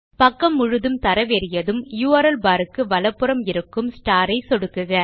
பக்கம் முழுதும் தரவேறியதும் யுஆர்எல் பார் க்கு வலப்புறம் இருக்கும் ஸ்டார் ஐ சொடுக்குக